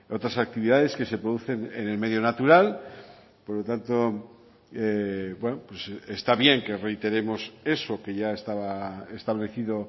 otras actividades que se producen en el medio natural por lo tanto está bien que reiteremos eso que ya estaba establecido